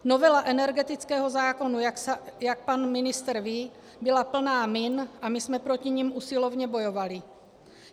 Novela energetického zákona, jak pan ministr ví, byla plná min a my jsme proti nim usilovně bojovali.